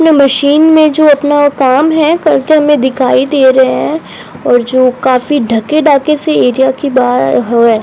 न मशीन में जो अपना काम है करते हमें दिखाई दे रहे हैं और जो काफी ढके ढाके से एरिया के बाहर हवा --